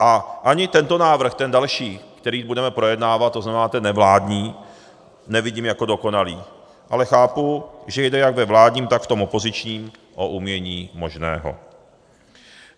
A ani tento návrh, ten další, který budeme projednávat, to znamená ten nevládní, nevidím jako dokonalý, ale chápu, že jde jak ve vládním, tak v tom opozičním o umění možného.